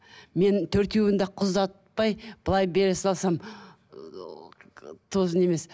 мен төртеуін де қыз ұзатпай былай бере салсам тоже не емес